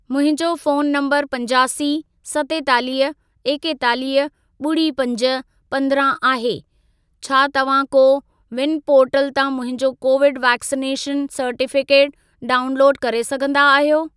मुंहिंजो phone number पंजासी, सतेतालीह, एकेतालीह, ॿुड़ी पंज, पंद्रहं आहे, छा तव्हां को विन पोर्टल तां मुंहिंजो कोविड वैक्सनेशन सर्टिफिकेट डाउनलोड करे सघंदा आहियो?